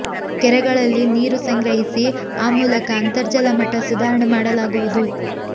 ಕೆರೆಗಳಲ್ಲಿ ನೀರು ಸಂಗ್ರಹಿಸಿ ಆ ಮೂಲಕ ಅಂತರ್ಜಲ ಮಟ್ಟ ಸುಧಾರಣೆ ಮಾಡಲಾಗುವುದು